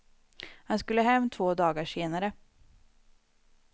Han skulle hem två dagar senare.